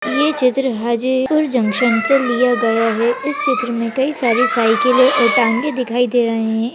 ये चित्र हैं जी हाजीपुर जंक्शन से लिया गया है इस चित्र में कई सारी साइकिल और टांगे दिखाई दे रहे है।